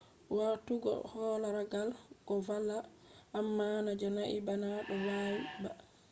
watugo halagare do valla amma na je nandi bana do nawi ba